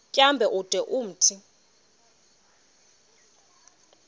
tyambo ude umthi